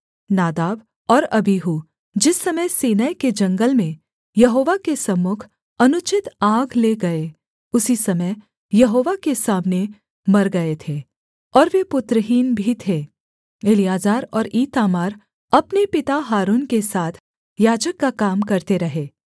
नादाब और अबीहू जिस समय सीनै के जंगल में यहोवा के सम्मुख अनुचित आग ले गए उसी समय यहोवा के सामने मर गए थे और वे पुत्रहीन भी थे एलीआजर और ईतामार अपने पिता हारून के साथ याजक का काम करते रहे